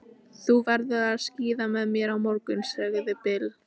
Hún heldur að hann sé orðinn vellauðugur- einhvers staðar.